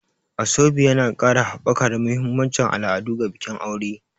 Asoebi yana ƙara haɓaka da mahimmancin al'adu ga bikin aure.